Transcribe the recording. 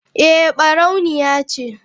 Eh barauniya ce.